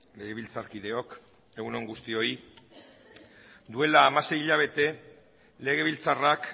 legebiltzarkideok egun on guztioi duela hamasei hilabete legebiltzarrak